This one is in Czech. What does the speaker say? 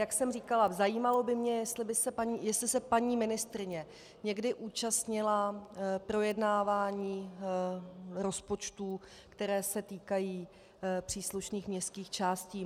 Jak jsem říkala, zajímalo by mě, jestli se paní ministryně někdy účastnila projednávání rozpočtů, které se týkají příslušných městských částí.